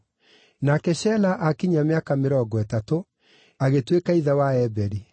Nake Shela aakinyia mĩaka mĩrongo ĩtatũ, agĩtuĩka ithe wa Eberi.